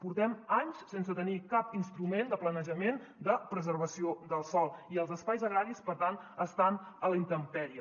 portem anys sense tenir cap instrument de planejament de preservació del sòl i els espais agraris per tant estan a la intempèrie